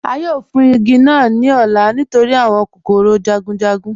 A yóò fún igi naa ní ọ̀lá nítorí awọn kòkòrò jagunjagun